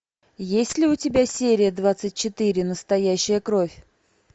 есть ли у тебя серия двадцать четыре настоящая кровь